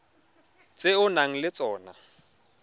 tse o nang le tsona